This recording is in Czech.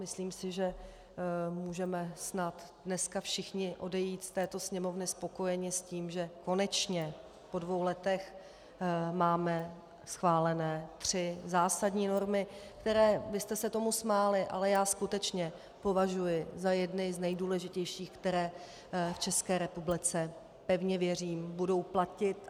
Myslím si, že můžeme snad dneska všichni odejít z této Sněmovny spokojeni s tím, že konečně po dvou letech máme schválené tři zásadní normy, které - vy jste se tomu smáli, ale já skutečně považuji za jedny z nejdůležitějších, které v České republice, pevně věřím, budou platit.